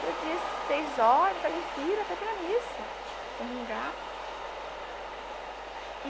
Todo dia, às seis horas, eu saio em fila para ir para a missa, comungar.